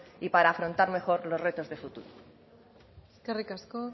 y para afrontar mejor los retos de futuro eskerrik asko